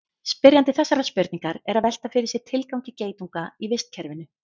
spyrjandi þessarar spurningar er að velta fyrir sér tilgangi geitunga í vistkerfinu